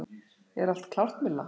Er allt klárt Milla?